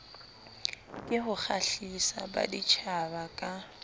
ke ho kgahlisa baditjhaba ka